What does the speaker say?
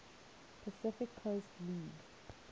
pacific coast league